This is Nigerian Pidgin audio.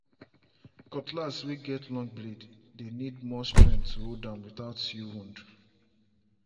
cutlass way get long blade dey need more strength to hold am without you wound.